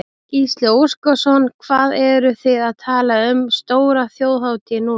Gísli Óskarsson: Hvað eruð þið að tala um stóra þjóðhátíð núna?